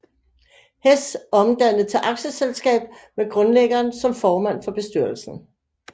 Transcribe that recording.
Hess omdannet til aktieselskab med grundlæggeren som formand for bestyrelsen